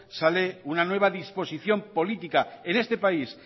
sale una nueva disposición política en este país